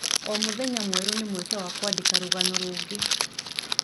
O mũthenya mwerũ nĩ mweke wa kwandĩka rũgano rũngĩ.